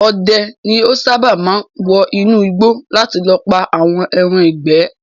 Odẹ ni ó sáábà máa ń wọ inú igbó láti lọ pà àwọn ẹran ìgbẹ́